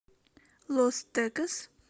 лос текес